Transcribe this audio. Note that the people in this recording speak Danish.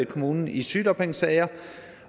kommunen i sygedagpengesager